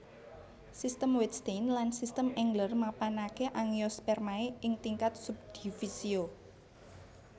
Sistem Wettstein lan Sistem Engler mapanaké Angiospermae ing tingkat subdivisio